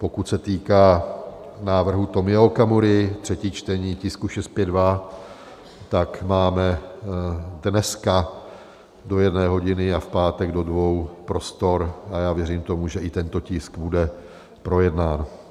Pokud se týká návrhu Tomia Okamury, třetí čtení tisku 652, tak máme dneska do jedné hodiny a v pátek do dvou prostor a já věřím tomu, že i tento tisk bude projednán.